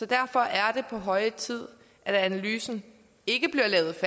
derfor er det på høje tid at analysen ikke bliver lavet